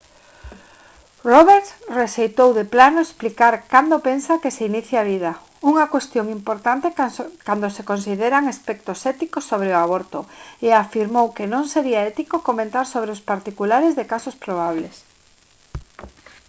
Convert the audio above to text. roberts rexeitou de plano explicar cando pensa que se inicia a vida unha cuestión importante cando se consideran aspectos éticos sobre o aborto e afirmou que non sería ético comentar sobre os particulares de casos probables